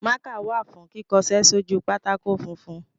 Mákà wà fún kíkọṣẹ́ sójú pátákó funfun.